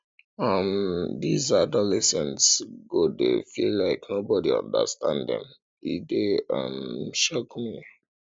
um dese adolescents go dey feel like nobody understand dem e dey um shock me